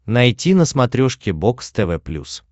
найти на смотрешке бокс тв плюс